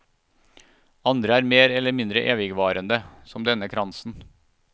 Andre er mer eller mindre evigvarende, som denne kransen.